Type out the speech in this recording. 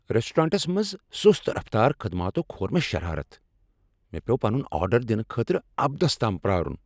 Restaurants منٛز سُست رفتار خدماتو كھور مےٚ شرارتھ ۔ مےٚ پیوٚو پنن آرڈر دنہٕ خٲطرٕ ابدس تام پیٛارُن